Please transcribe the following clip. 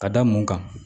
Ka da mun kan